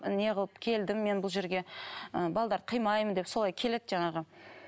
не қылып келдім мен бұл жерге ы қимаймын деп солай келеді жаңағы